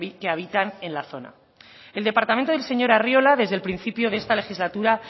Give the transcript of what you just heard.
que habitan en la zona el departamento del señor arriola desde el principio de esta legislatura